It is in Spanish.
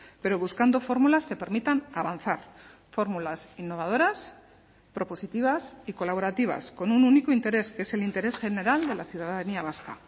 pero buscando fórmulas que permitan avanzar fórmulas innovadoras propositivas y colaborativas con un único interés que es el interés general de la ciudadanía vasca